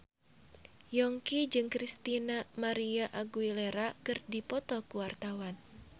Yongki jeung Christina María Aguilera keur dipoto ku wartawan